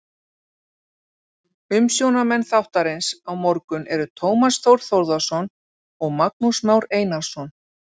Umsjónarmenn þáttarins á morgun eru Tómas Þór Þórðarson og Magnús Már Einarsson.